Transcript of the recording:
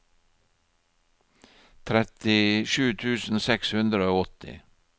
trettisju tusen seks hundre og åtti